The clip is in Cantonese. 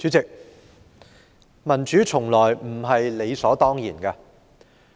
主席，民主從來不是理所當然的。